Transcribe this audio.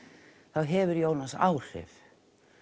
þá hefur Jónas áhrif